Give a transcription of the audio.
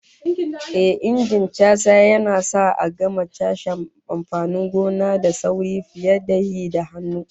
Ehh, Injin casa yana sa a gama cashe amfanin gona da sauri fiye da yi da hannu